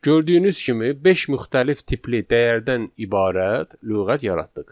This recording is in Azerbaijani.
Gördüyünüz kimi beş müxtəlif tipli dəyərdən ibarət lüğət yaratdıq.